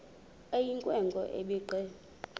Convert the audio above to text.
eyinkwe nkwe ebhinqe